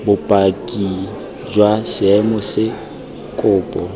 bopaki jwa seemo se kopo